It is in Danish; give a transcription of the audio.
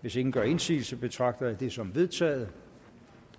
hvis ingen gør indsigelse betragter jeg det som vedtaget